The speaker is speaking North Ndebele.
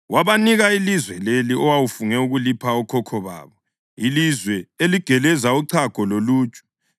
Wabanika ilizwe leli owawufunge ukulipha okhokho babo, ilizwe eligeleza uchago loluju.